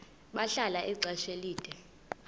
bahlala ixesha elide